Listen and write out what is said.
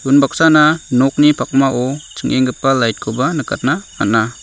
unbaksana nokni pakmao ching·enggipa lait koba nikatna man·a.